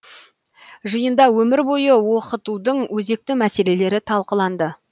жиында өмір бойы оқытудың өзекті мәселелері талқыланды